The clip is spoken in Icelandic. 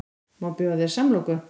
Má bjóða þér samloku?